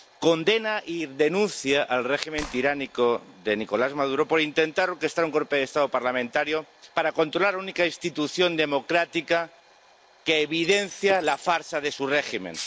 Condena y denuncia el régimen tiránico de Nicolás Maduro por intentar orquestar un golpe de Estado parlamentario para controlar la única institución democrática que evidencia la farsa de su régimen.